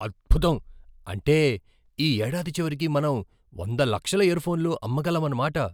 అద్భుతం! అంటే ఈ ఏడాది చివరికి మనం వంద లక్షల ఇయర్ఫోన్లు అమ్మగలమన్నమాట!